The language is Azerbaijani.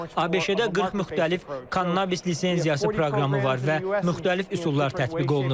ABŞ-da 40 müxtəlif kannabis lisenziyası proqramı var və müxtəlif üsullar tətbiq olunur.